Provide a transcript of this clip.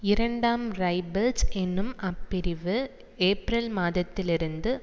இரண்டாம் ரைபிள்ஸ் என்னும் அப்பிரிவு ஏப்ரல் மாதத்திலிருந்து